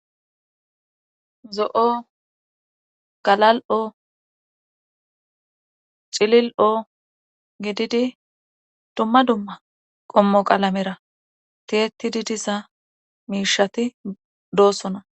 Zo'o galal'o cilil'oo gididi dumma dumma qommo qalamera tiyetidi diza miishati doossona